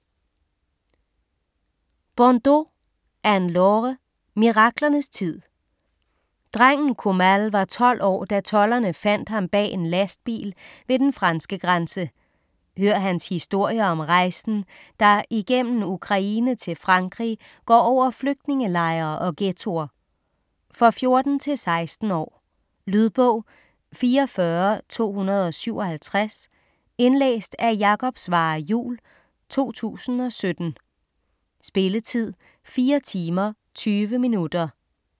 Bondoux, Anne-Laure: Miraklernes tid Drengen Koumail var 12 år, da tolderne fandt ham bag en lastbil ved den franske grænse. Hør hans historie om rejsen, der igennem Ukraine til Frankrig går over flygtningelejre og ghettoer. For 14-16 år. Lydbog 44257 Indlæst af Jakob Svarre Juhl, 2017. Spilletid: 4 timer, 20 minutter.